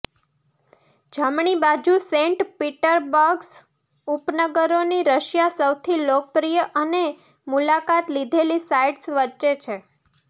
જમણી બાજુ પર સેન્ટ પીટર્સબર્ગ ઉપનગરોની રશિયા સૌથી લોકપ્રિય અને મુલાકાત લીધેલી સાઇટ્સ વચ્ચે છે